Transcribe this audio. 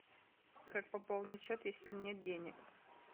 как пополнить счет если нет денег